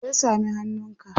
me ya sami hannunka?